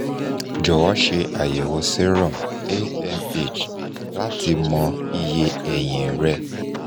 jọwọ ṣe ayẹwo serum amh lati mọ iye ẹyin rẹ